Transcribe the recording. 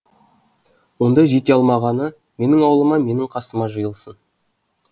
онда жете алмағаны менің аулыма менің қасыма жиылсын